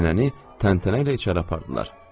Nənəni təntənə ilə içəri apardılar.